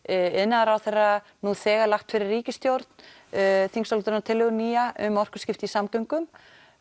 iðnaðarráðherra nú þegar lagt fyrir ríkisstjórn þingsályktunartillögu nýja um orkuskipti í samgöngum